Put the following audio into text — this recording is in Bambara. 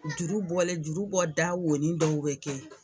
Juru bɔlen juru bɔda wonnin dɔw bɛ kɛ